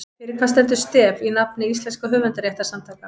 Fyrir hvað stendur STEF í nafni íslenskra höfundarréttarsamtaka?